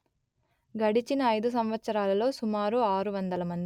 గడిచిన ఐదు సంవత్సరాలలో సుమారు ఆరు వందలు మంది